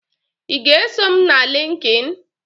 Ị ga-eso m na Lịnkịn?